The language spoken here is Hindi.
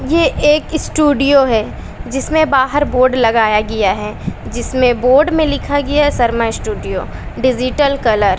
ये एक स्टूडियो है जिसमें बाहर बोर्ड लगाया गया है जिसमें बोड में लिखा गया शर्मा स्टूडियो डिजिटल कलर --